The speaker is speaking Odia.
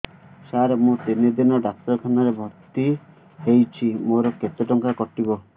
ସାର ମୁ ତିନି ଦିନ ଡାକ୍ତରଖାନା ରେ ଭର୍ତି ହେଇଛି ମୋର କେତେ ଟଙ୍କା କଟିବ